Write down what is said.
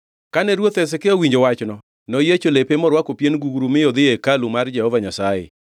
Kane ruoth Hezekia owinjo wachno, noyiecho lepe morwako pien gugru mi odhi e hekalu mar Jehova Nyasaye.